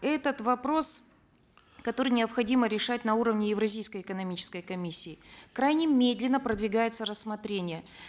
этот вопрос который необходимо решать на уровне евразийской экономической комиссии крайне медленно продвигается рассмотрение